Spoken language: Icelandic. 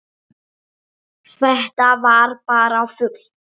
Þetta var bara fugl!